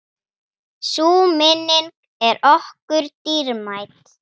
Sú minning er okkur dýrmæt.